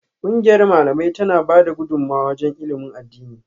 Kungiyar Malamai tana bada gudumawa wajen ilimin addini